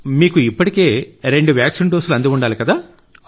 మీకు ఇప్పటికే రెండు వ్యాక్సిన్ డోసులు అంది ఉండాలి కదా